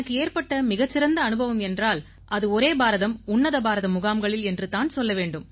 எனக்கு ஏற்பட்ட மிகச் சிறந்த அனுபவம் என்றால் அது ஒரே பாரதம் உன்னத பாரதம் முகாம்களில் என்று தான் சொல்ல வேண்டும்